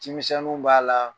CƐmisɛnninw b'a la